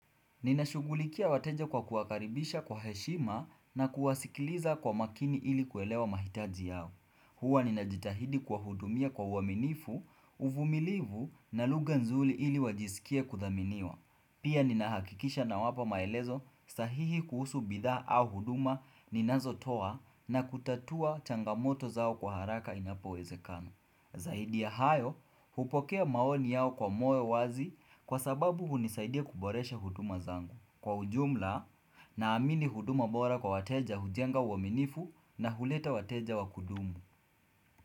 Ninashugulikia wateja kwa kuwakaribisha kwa heshima na kuwasikiliza kwa makini ili kuelewa mahitaji yao. Huwa ninajitahidi kuwahudumia kwa uaminifu, uvumilivu na lugha nzuli ili wajiskie kudhaminiwa. Pia ninahakikisha nawapa maelezo sahihi kuhusu bidhaa au huduma ninazotoa na kutatua changamoto zao kwa haraka inapo wezekana. Zaidi ya hayo, hupokea maoni yao kwa moyo wazi kwa sababu hunisaidia kuboresha huduma zangu. Kwa ujumla, naamini huduma bora kwa wateja hujenga uaminifu na huleta wateja wa kudumu.